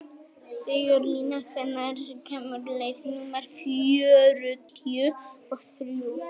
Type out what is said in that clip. Sigurlína, hvenær kemur leið númer fjörutíu og þrjú?